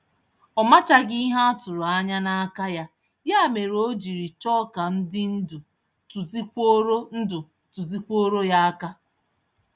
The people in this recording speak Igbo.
Ọ machaghị ihe atụrụ-anya n'aka ya, ya mere ojiri chọọ ka ndị ndú tụzikwuoro ndú tụzikwuoro ya áká.